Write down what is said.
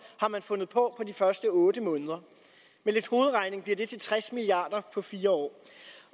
har man fundet på på de første otte måneder med lidt hovedregning bliver det til tres milliard kroner på fire år